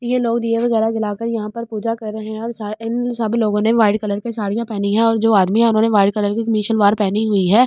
ये लोग दिए वगैरह जलाकर यहां पर पूजा कर रहे हैं और इन सब लोगों ने वाइट कलर की साड़ियां पहनी है और जो आदमी है उन्होंने वाइट कलर की मिसलवार पहनी हुई है।